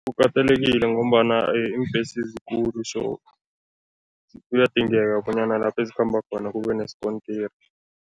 Kukatelekile ngombana iimbhesi zikulu so kuyadingeka bonyana lapho ezikhamba khona kube nesikontiri.